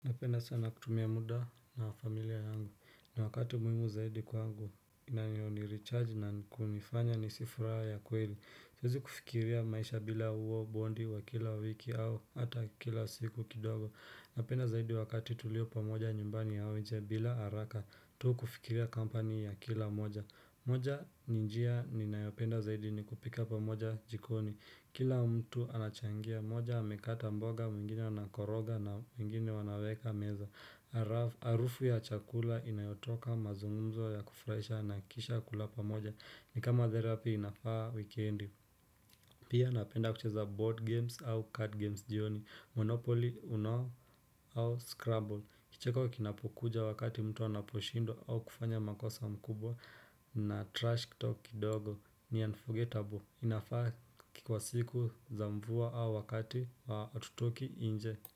Napenda sana kutumia muda na familia yangu. Ni wakati muhimu zaidi kwangu. Inayo nirechargi na kunifanya ni hisi furaha ya kweli. Siwezi kufikiria maisha bila huo bondi wa kila wiki au hata kila siku kidogo. Napenda zaidi wakati tulio pamoja nyumbani au nje bila haraka. Tu kufikiria kampani ya kila mmoja. Moja ni njia ninayopenda zaidi ni kupika pamoja jikoni. Kila mtu anachangia, mmoja amekata mboga, mwingine anakoroga na wengine wanaweka meza Arufu ya chakula inayotoka mazungumzo ya kufurahisha na kisha kulapamoja. Ni kama therapy inafaa wikendi Pia napenda kucheza board games au card games jioni Monopoly, Uno au Scrabble Kicheko kinapokuja wakati mtu anaposhindwa au kufanya makosa makubwa na trash talk kidogo. Ni unforgettable inafaa kukuwa siku za mvua au wakati wa hatutoki nje.